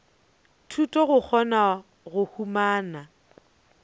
thuto go kgona go humana